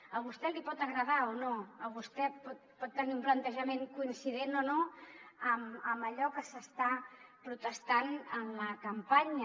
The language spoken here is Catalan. a vostè li pot agradar o no vostè pot tenir un plantejament coincident o no amb allò que s’està protestant en la campanya